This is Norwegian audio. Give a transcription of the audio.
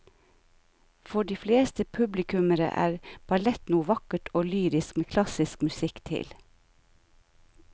For de fleste publikummere er ballett noe vakkert og lyrisk med klassisk musikk til.